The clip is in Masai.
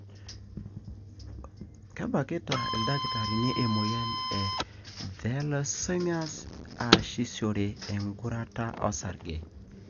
kebakita ildakitarini emoyian e thalassemias easishore engurata osarge.